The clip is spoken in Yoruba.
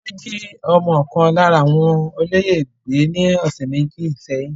Wọ́n jí ọmọ ọkàn lára àwọn olóyè gbé ní ọ̀sẹ̀ méjì sẹ́yìn.